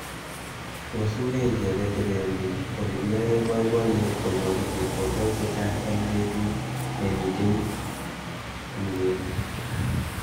Tos une icheket che teleljin olekiyoei boiboyet konyoru chepkondok chechang eng betut nemitei tungwek.